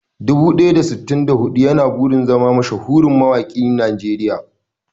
Dubu ɗaya da sittin da huɗu yana burin zama mashahurin mawaƙin Najeriya.